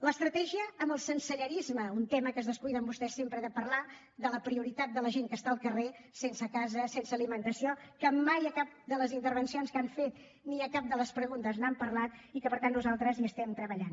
l’estratègia amb el sensellarisme un tema que es descuiden vostès sempre de parlar ne de la prioritat de la gent que està al carrer sense casa sense alimentació que mai a cap de les intervencions que han fet ni a cap de les preguntes n’han parlat i que per tant nosaltres hi treballem